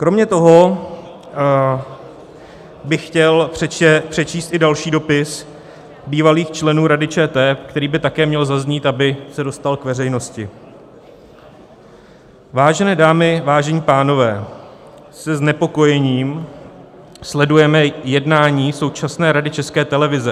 Kromě toho bych chtěl přečíst i další dopis bývalých členů Rady ČT, který by také měl zaznít, aby se dostal k veřejnosti: "Vážené dámy, vážení pánové, se znepokojením sledujeme jednání současné Rady České televize.